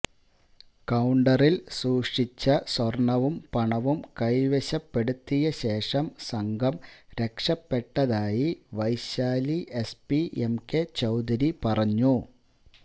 കൌണ്ടറില് സൂക്ഷിച്ച സ്വര്ണവും പണവും കൈവശപ്പെടുത്തിയ ശേഷം സംഘം രക്ഷപ്പെട്ടതായി വൈശാലി എസ്പി എംകെ ചൌധരി പറഞ്ഞു